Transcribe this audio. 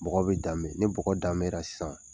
Bɔgɔ bɛ danbe ni bɔgɔ danbera sisan